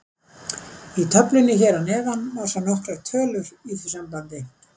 Í töflunni hér að neðan má sjá nokkrar tölur í því sambandi.